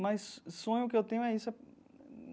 Mas sonho que eu tenho é isso.